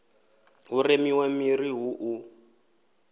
hu remiwe miri hu u